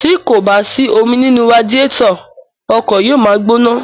Tí kò bá sí omi nínú radiétọ̀, ọkọ̀ yóò ma gbóná.